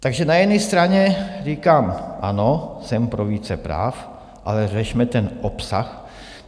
Takže na jedné straně říkám: ano, jsem pro více práv, ale řešme ten obsah.